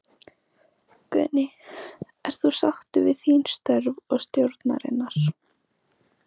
Guðný: Ert þú sáttur við þín störf og stjórnarinnar?